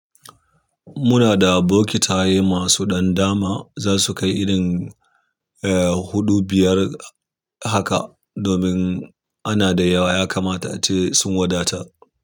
Muna da bokitaye masu dandama za su kai irin, eh, huɗu, biyar haka. Domin ana da yawa ya kamata ace sun wadata.